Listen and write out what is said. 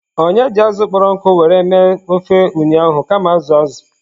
Onye ji azụ̀ kpọrọ nkụ were mee ofe ụnyahụ kama azụ̀ azụ̀.